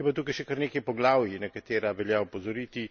Je pa tukaj še kar nekaj poglavij, na katera velja opozoriti.